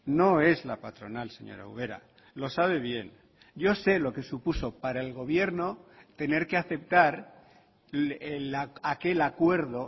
no es la patronal señora ubera lo sabe bien yo sé lo que supuso para el gobierno tener que aceptar aquel acuerdo